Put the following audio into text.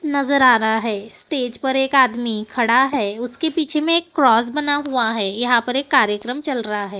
नजर आ रहा है स्टेज पर एक आदमी खड़ा है उसके पीछे में एक क्रॉस बना हुआ है यहां पर एक कार्यक्रम चल रहा है।